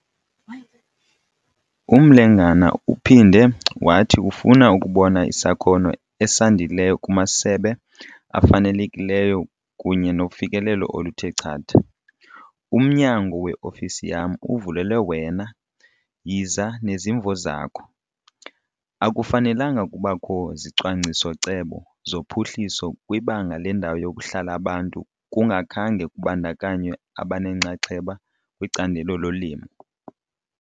UMlengana uphinde wathi ufuna ukubona isakhono esandileyo kumasebe afanelekileyo kunye nofikelelo oluthe chatha, 'Umnyango weofisi yam uvulelwe wena, yiza nezimvo zakho!'. Akufanelanga kubakho zicwangciso-cebo zophuhliso kwibanga lendawo yokuhlala abantu kungakhange kubandakanywe abanenxaxheba kwicandelo lolimo.